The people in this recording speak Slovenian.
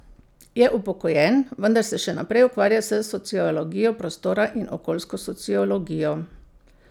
Je upokojen, vendar se še naprej ukvarja s sociologijo prostora in okoljsko sociologijo.